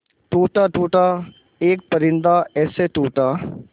टूटा टूटा एक परिंदा ऐसे टूटा